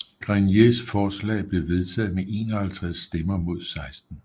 Greniers forslag blev vedtaget med 51 stemmer mod 16